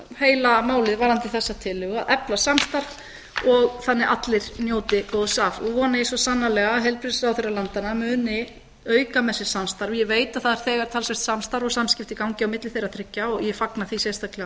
heila málið varðandi þessa tillögu að efla samstarf þannig að allir njóti góðs af og vona ég svo sannarlega að heilbrigðisráðherrar landanna muni auka með sér samstarf ég veit að það er þegar talsvert samstarf og samskipti í gangi á milli þeirra þriggja og ég fagna því sérstaklega